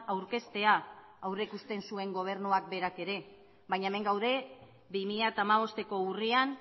aurkeztea aurreikusten zuen gobernuak berak ere baina hemen gaude bi mila hamabosteko urrian